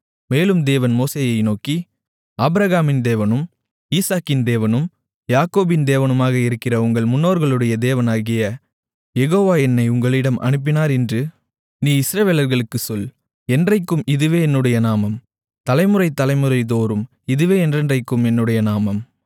மேலும் தேவன் மோசேயை நோக்கி ஆபிரகாமின் தேவனும் ஈசாக்கின் தேவனும் யாக்கோபின் தேவனுமாக இருக்கிற உங்கள் முன்னோர்களுடைய தேவனாகிய யெகோவா என்னை உங்களிடம் அனுப்பினார் என்று நீ இஸ்ரவேலர்களுக்கு சொல் என்றைக்கும் இதுவே என்னுடைய நாமம் தலைமுறை தலைமுறைதோறும் இதுவே என்றென்றைக்கும் என்னுடைய நாமம்